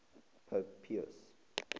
pope pius